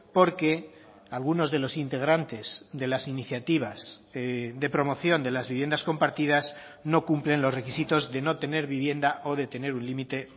porque algunos de los integrantes de las iniciativas de promoción de las viviendas compartidas no cumplen los requisitos de no tener vivienda o de tener un límite